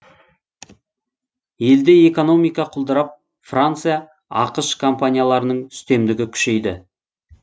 елде экономика құлдырап франция ақш компанияларының үстемдігі күшейді